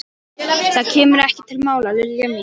Það kemur ekki til mála, Lilla mín.